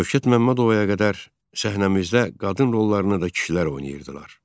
Şövkət Məmmədovaya qədər səhnəmizdə qadın rollarını da kişilər oynayırdılar.